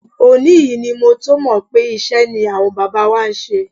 Òní yìí ni mo tó mọ̀ pé iṣẹ́ ni àwọn bàbá wa ṣe.